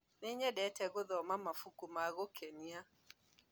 Nĩnyendete gũthoma mabuku ma gũkenia